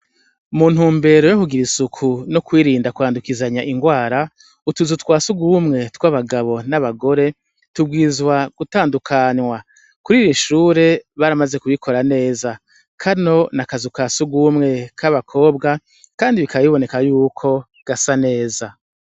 Mu ntumbero yo kugira isuku no kwirinda kwandukizanya ingwara utuzu twa sugumwe tw'abagabo n'abagore tubwizwa gutandukanwa kuri iri shure baramaze kubikora neza kano na kazu kasugumwe k'abakobwa kandi bikabiboneka y'uko gasa neza.